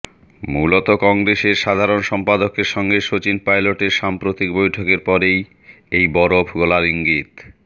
মূলত কংগ্রেসের সাধারণ সম্পাদকের সঙ্গে শচীন পাইলটের সাম্প্রতিক বৈঠকের পরেই এই বরফ গলার ইঙ্গিত